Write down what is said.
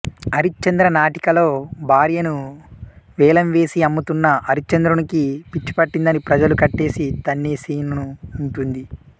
హరిశ్చంద్ర నాటికలో భార్యను వేలంవేసి అమ్ముతున్న హరిశ్చంద్రునికి పిచ్చిపట్టిందని ప్రజలు కట్టేసి తన్నే సీను ఉంటుంది